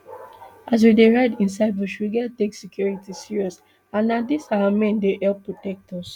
as we dey ride inside bush we get take security serious and na dis our men dey help protect us